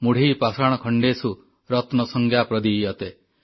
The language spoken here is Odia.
ମୁଢ଼ୈ ପାଷାଣଖଣ୍ଡେଷୁ ରତ୍ନସଂଜ୍ଞା ପ୍ରଦୀୟତେ